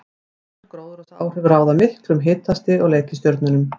Svonefnd gróðurhúsaáhrif ráða miklu um hitastig á reikistjörnunum.